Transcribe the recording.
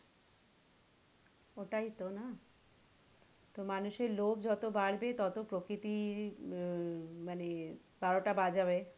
ওটাই তো না? তো মানুষের লোভ যত বাড়বে ততো প্রকৃতির মানে বারোটা বাজাবে আর,